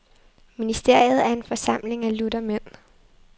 Ministeriet er en forsamling af lutter mænd.